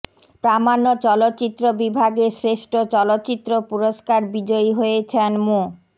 প্রামাণ্য চলচ্চিত্র বিভাগে শ্রেষ্ঠ চলচ্চিত্র পুরস্কার বিজয়ী হয়েছেন মো